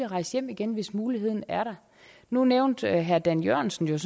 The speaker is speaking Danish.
rejse hjem igen hvis muligheden er der nu nævnte herre dan jørgensen